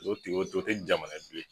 O te o te jamana ye bilen